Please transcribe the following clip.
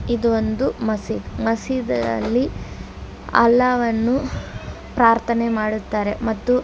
ಇದು ಒಂದು ಮಸೀದ್ ಮಸೀದ್ ಅಲ್ಲಿ ಅಲ್ಲಾ ವನ್ನು ಪ್ರಾರ್ಥನೆ ಮಾಡುತ್ತಾರೆ ಮತ್ತು --